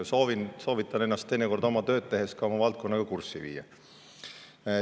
Soovitan ennast teinekord oma tööd tehes ka oma valdkonnaga kurssi viia.